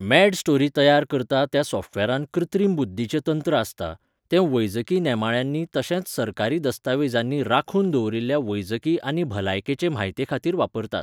मॅडस्टोरी तयार करता त्या सॉफ्टवॅरांत कृत्रीम बुद्दीचें तंत्र आसता, तें वैजकी नेमाळ्यांनी तशेंच सरकारी दस्तावेजांनी राखून दवरिल्ल्या वैजकी आनी भलायकेचे म्हायतेखातीर वापरतात.